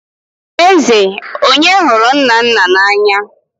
Eze, onye hụrụ Nnanna n'anya?